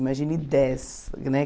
Imagine dez, né?